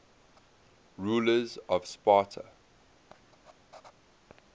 rulers of sparta